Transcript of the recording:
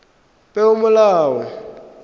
peomolao